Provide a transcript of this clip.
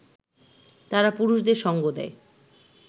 তারা পুরুষদের সঙ্গ দেয়